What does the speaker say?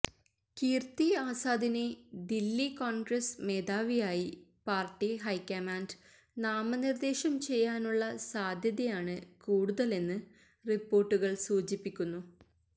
കീര്ത്തി ആസാദിനെ ദില്ലി കോണ്ഗ്രസ് മേധാവിയായി party high command നാമനിര്ദ്ദേശം ചെയ്യാനുള്ള സാധ്യതയാണ് കൂടുതലെന്ന് റി്പ്പോര്ട്ടുകള് സൂചിപ്പിക്കുന്നു